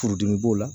Furudimi b'o la